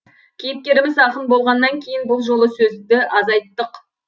кейіпкеріміз ақын болғаннан кейін бұл жолы сөзді азайттық